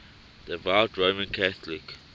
devout roman catholic